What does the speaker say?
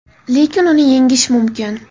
Lekin uni yengish mumkin.